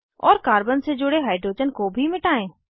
और कार्बन से जुड़े हाइड्रोजन को भी मिटायें